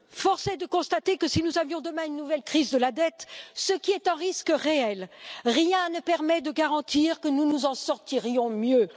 Force est de constater que si nous avions demain une nouvelle crise de la dette ce qui est un risque réel rien ne permet de garantir que nous nous en sortirions mieux.